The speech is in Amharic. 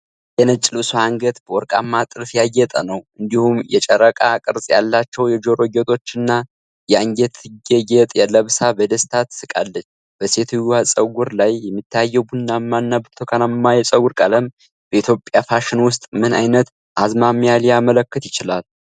የነጭ ልብሷ አንገት በወርቃማ ጥልፍ ያጌጠ ነው። እንዲሁም የጨረቃ ቅርጽ ያላቸው የጆሮ ጌጦች እና የአንገት ጌጥ ለብሳ በደስታ ትስቃለች። በሴትየዋ ፀጉር ላይ የሚታየው ቡናማና ብርቱካናማ የፀጉር ቀለም በኢትዮጵያ ፋሽን ውስጥ ምን ዓይነት አዝማሚያ ሊያመለክት ይችላል?